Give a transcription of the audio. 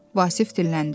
Vasif dilləndi.